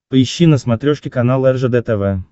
поищи на смотрешке канал ржд тв